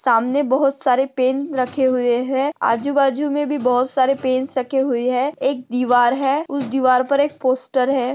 सामने बहोत सारे पेन रखे हुए है आजूबाजू मे भी बहोत सारे पेन्स रखे हुए है। एक दीवार है उस दीवार पर एक पोस्टर है।